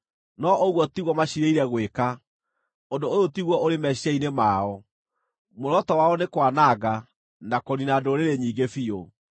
No ũguo tiguo maciirĩire gwĩka, ũndũ ũyũ tiguo ũrĩ meciiria-inĩ mao, muoroto wao nĩ kwananga, na kũniina ndũrĩrĩ nyingĩ biũ.